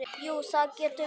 Jú, það getur verið.